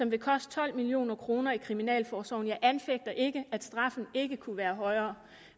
vil koste tolv million kroner i kriminalforsorgen jeg anfægter ikke at straffen ikke kunne være højere